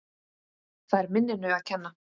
Það er minninu að kenna.